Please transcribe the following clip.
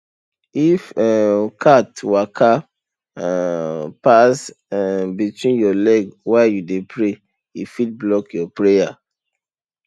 if um cat waka um pass um between your leg while you dey pray e fit block your prayer